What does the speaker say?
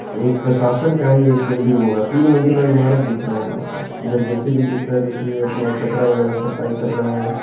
एक प्रशासन का ही एक बिल्डिंग होगा तीन मंजिला इमारत दिख रहा होगा इधर जे.सी.बी. दिख रहा है जो की ये अपना कचरा वगैरा सफाई कर रहा है।